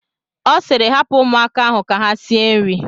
Ọ sịịrị, hapụ ụmụaka ahụ ka ha sie nri!